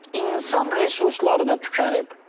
İnsan resursları da tükənib.